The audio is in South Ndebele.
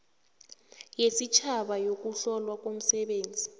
yesitjhaba yokuhlolwa komsebenzi